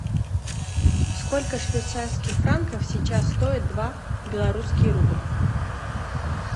сколько швейцарских франков сейчас стоит два белорусский рубль